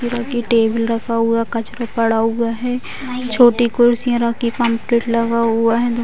Table रखा हुआ कचरा पड़ा हुआ है। छोटी कुर्सियाँ रखी पम्पलेट लगा हुआ है। धू --